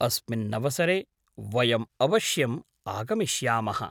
अस्मिन्नवसरे वयम् अवश्यम् आगमिष्यामः।